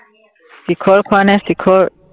শিখৰ খোৱানে? শিখৰ